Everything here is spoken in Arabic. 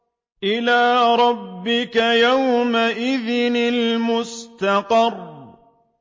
إِلَىٰ رَبِّكَ يَوْمَئِذٍ الْمُسْتَقَرُّ